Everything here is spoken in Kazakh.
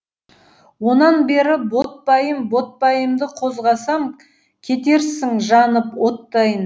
онан бері ботпайым ботпайымды қозғасам кетерсің жанып оттайын